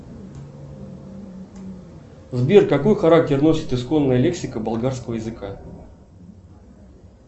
сбер какой характер носит исконная лексика болгарского языка